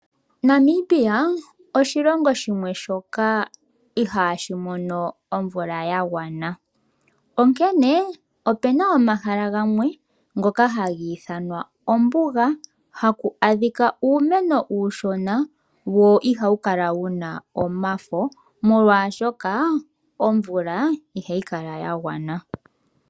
Namibia oshilongo shimwe shoka ihaashi mono omvula ya gwana onkene opena omahala gamwe ngoka hagi ithanwa ombuga haku adhika uumeno uushona wo ihawu kala wuna omafo molwashoka omvula ihayi kala ya gwana.